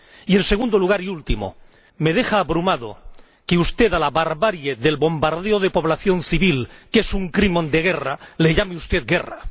Y en segundo lugar y último me deja abrumado que a la barbarie del bombardeo de población civil, que es un crimen de guerra, lo llame usted guerra.